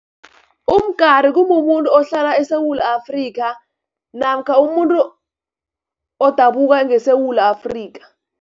Umgari, kumumuntu ohlala eSewula Afrika namkha umuntu odabuka ngeSewula Afrika.